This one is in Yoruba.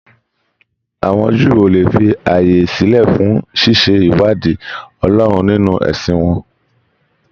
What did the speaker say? Àwọn Júù ó le fi ààyè sílẹ fún ṣíṣe ìwádìí Ọlọ́run nínú ẹ̀sìn wọn.